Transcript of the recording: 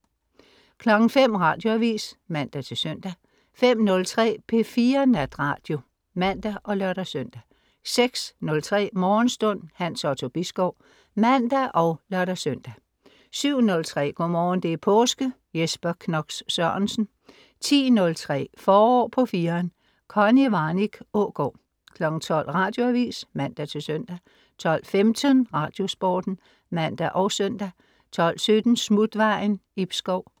05.00 Radioavis (man-søn) 05.03 P4 Natradio (man og lør-søn) 06.03 Morgenstund. Hans Otto Bisgaard (man og lør-søn) 07.03 Go'morgen, det er påske. Jesper Knox Sørensen 10.03 Forår på 4'eren. Connie Warnich Aagaard 12.00 Radioavis (man-søn) 12.15 Radiosporten (man og søn) 12.17 Smutvejen. Ib Schou